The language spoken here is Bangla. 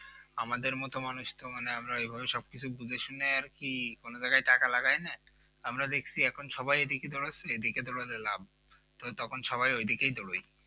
আমাদের মত মানুষ তো মানে আমরা ওই ভাবেই সব কিছু বুঝে শুনে আর কি কোন জায়গায় টাকা লাগায় না আমরা দেখছি সবাই এখন সবাই এদিকে দৌড় আছে ওদিকে দৌড় আছে লাভ তখন সবাই ওদিকে দৌড়াই